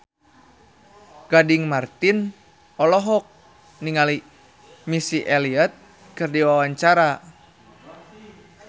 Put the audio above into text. Gading Marten olohok ningali Missy Elliott keur diwawancara